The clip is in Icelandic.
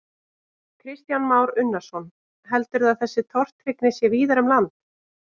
Kristján Már Unnarsson: Heldurðu að þessi tortryggni sé víðar um land?